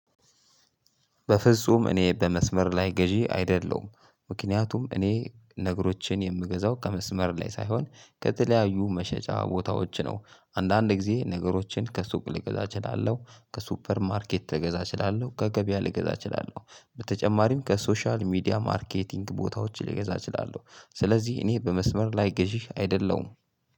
በፍጹም እኔ በመስመር ላይ ገዢ አይደለሁም። ምክንያቱም እኔ ነገሮችን የምገዛው ከመስመር ላይ ሳይሆን ከተለያዩ መሸጫ ቦታዎች ነው። አንዳንድ ጊዜ ነገሮችን ከሱቅ ልገዛ እችላለሁ። ከሱፐር ማርኬት ልገዛ እችላለሁ። ከገበያ ልገዛ እችላለሁ። በተጨማሪም ከሶሻል ሚዲያ ማርኬቲንግ ቦታዎች ልገዛ እችላለሁ። ስለዚህ እኔ በመስመር ላይ ገዢ አይደለሁም።